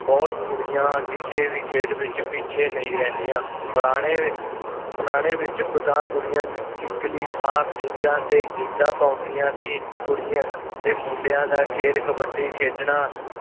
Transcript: ਬੁਹਤ ਕੁੜੀਆਂ ਕਿਸੇ ਵੀ ਖੇਡ ਵਿੱਚ ਪਿੱਛੇ ਨਹੀਂ ਰਹਿੰਦਿਆਂ ਪੁਰਾਣੇ ਪੁਰਾਣੇ ਵਿੱਚ ਖ਼ੁਦਾ ਕੁੜੀਆਂ ਕਿੱਕਲੀ ਥਾਂ ਪੀਘਾਂ ਤੇ ਗਿੱਧਾ ਪਾਉਦੀਆਂ ਤੀ ਕੁੜੀਆਂ ਤੇ ਮੁੰਡਿਆਂ ਦਾ ਖੇਡ ਕਬੱਡੀ ਖੇਡਣਾ